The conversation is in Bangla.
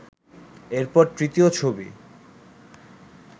এরপর তৃতীয় ছবি